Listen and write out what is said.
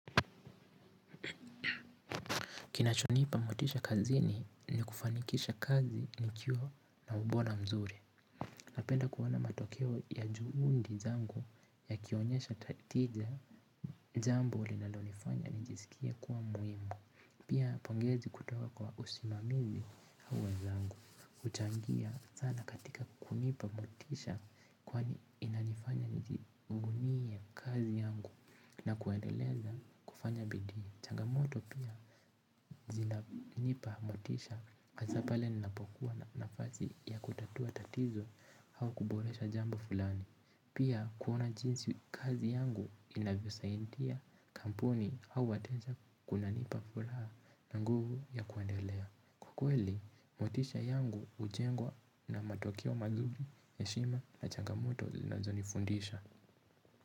Kinachonipa motisha kazini ni kufanikisha kazi nikiwa na ubora mzuri. Napenda kuona matokeo ya juundi zangu ya kionyesha tija jambo linlonifanya nijisikie kuwa muimu. Pia pongezi kutoka kwa usimamizi huwa zangu huchangia sana katika kunipa motisha kwa inanifanya nijuvunie kazi yangu na kuendeleza kufanya bidii changamoto pia zina nipa motisha hasa pale ninapokuwa na nafazi ya kutatua tatizo hau kuboresha jambo fulani. Pia kuona jinsi kazi yangu inavyo saindia kampuni au watenja kuna nipa fulaha na nguvu ya kuendelea. Kwa kweli, motisha yangu ujengwa na matokeo mazuri eshima na changamoto zinazonifundisha.